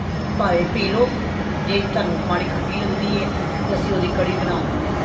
ਪਾਵੇ ਪੀ ਲੋ ਜੇ ਤੁਹਾਨੂੰ ਮਾੜੀ ਖਟੀ ਲੱਗਦੀ ਹੈ ਤੇ ਅਸੀਂ ਓਹਦੀ ਕੜੀ ਬਨਾਲੇਂਦੇ